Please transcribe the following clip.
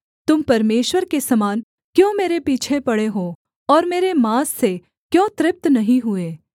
तुम परमेश्वर के समान क्यों मेरे पीछे पड़े हो और मेरे माँस से क्यों तृप्त नहीं हुए